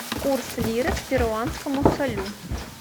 курс лиры к перуанскому солю